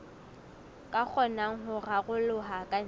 ka kgonang ho raroloha kantle